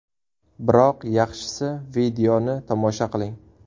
Biroq yaxshisi, videoni tomosha qiling.